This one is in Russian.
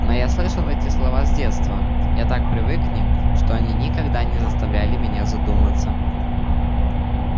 но я слышал эти слова с детства я так привык к ним что они никогда не заставляли меня задуматься